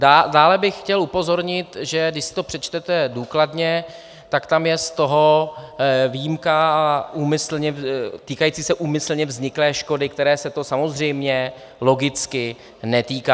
Dále bych chtěl upozornit, že když si to přečtete důkladně, tak tam je z toho výjimka týkající se úmyslně vzniklé škody, které se to samozřejmě logicky netýká.